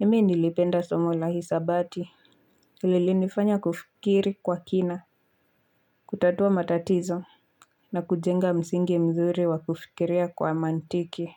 Mimi nilipenda somo la hisabati. Lilinifanya kufikiri kwa kina. Kutatua matatizo na kujenga msingi mzuri wa kufikiria kwa mantiki.